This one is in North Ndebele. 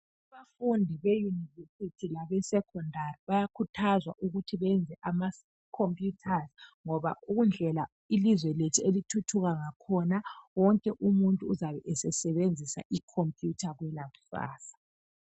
Abafundi beuniversity labe secondary bayakhuthazwa ukuthi beyenze ama computers, ngoba indlela ilizwe lethu elithuthuka ngakhona wonke umuntu uzabe esesebenzisa icomputer kwelakusasa.